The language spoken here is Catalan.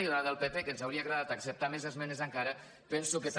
i la del pp que ens hauria agradat acceptar més esme·nes encara penso que també